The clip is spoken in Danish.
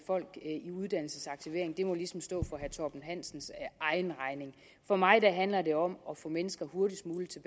folk i uddannelsesaktivering må ligesom stå for herre torben hansens egen regning for mig handler det om at få mennesker hurtigst muligt